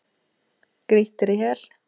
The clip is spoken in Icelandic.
Grýttir í hel.